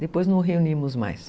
Depois não reunimos mais.